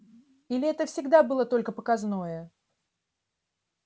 или это всегда было только показное